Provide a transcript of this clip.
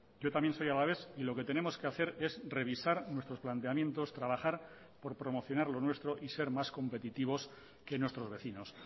yo también soy alavés y lo que tenemos que hacer es revisar nuestros planteamientos trabajar por promocionar lo nuestro y ser más competitivos que nuestros vecinos